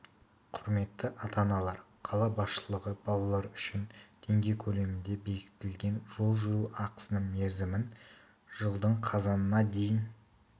құрметті ата-аналар қала басшылығы балалар үшін теңге көлемінде бекітілген жол жүру ақысының мерзімін жылдың қазанына дейін